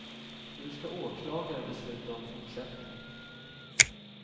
Nu ska åklagare besluta om fortsättningen.